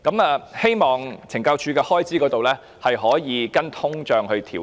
我希望懲教署的開支能夠隨通脹調整。